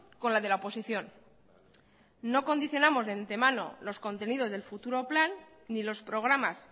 con la de la oposición no condicionamos de antemano los contenidos del futuro plan ni los programas